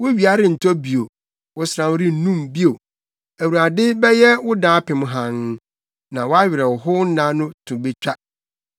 Wo wia rentɔ bio, wo sram rennum bio, Awurade bɛyɛ wo daapem hann, na wʼawerɛhownna to betwa.